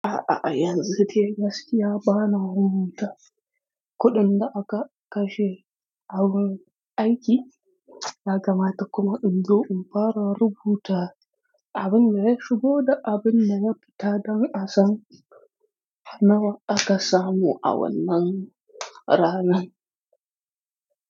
A'a, a', yanzu gaskiya bana rubuta kuɗin da aka kashe a wurin aiki, ya kamata kuma in zo in fara rubuta abin da ya shigo da abin da ya fita don a san nawa aka samu a wannan ranan.